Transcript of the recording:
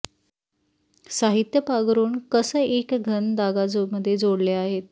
साहित्य पांघरूण कंस एक घन धागा मध्ये जोडल्या आहेत